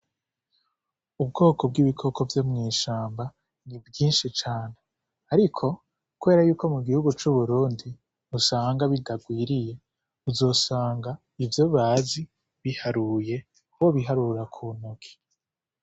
Ubwoko bw'ibikoko vyo mw'ishamba ni bwinshi cane. Ariko kubera yuko mu gihugu c'Uburundi usanga bitagwiriye, uzosanga ivyo bazi biharuye, wobiharura ku ntoki.